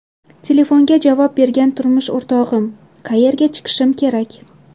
Telefonga javob bergan turmush o‘rtog‘im: ‘Qayerga chiqishim kerak?